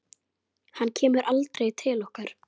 Hann kemur aldrei til okkar.